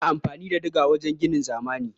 Ana amfani da diga wajen ginin zamani.